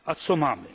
A co mamy?